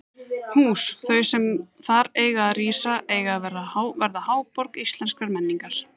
Hús þau, sem þar eiga að rísa, eiga að verða háborg íslenskrar menningar!